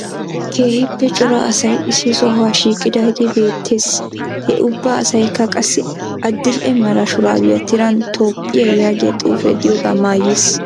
Keehippe cora asay issi sohuwa shiiqidaagee beettees. Ha ubba asaykka qassi adil"e mara shuraabiya tiran Toophphiya yaagiya xuufee diyogaa maayiis.